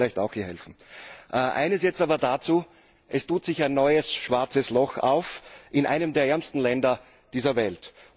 Das würde uns vielleicht auch hier helfen. Eines jetzt aber dazu Es tut sich ein neues schwarzes Loch auf in einem der ärmsten Länder dieser Welt.